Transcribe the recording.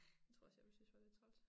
Tror også jeg ville synes var lidt træls